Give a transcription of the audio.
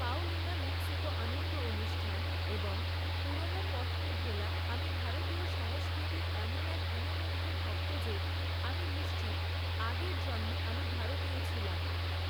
Paulina Mexico আনন্দ অনুষ্ঠান এবং পুরোনো পথকে ভোলা আমি ভারতীয় সংস্কৃতির এমন এক গুণমুগ্ধ ভক্ত যে আমি নিশ্চিত আগের জন্মে আমি ভারতীয় ছিলাম!